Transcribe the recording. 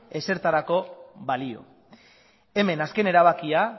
ezertarako balio hemen azken erabakia